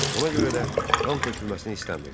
Ona görə də qan tökülməsini istəmirdi.